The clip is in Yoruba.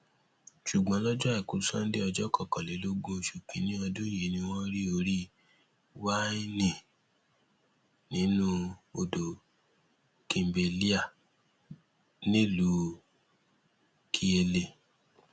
ṣùgbọn lọjọ àìkú sanńdé ọjọ kọkànlélógún oṣù kínínní ọdún yìí ni wọn rí orí wáènì nínú odò kimbelea nílùú kiele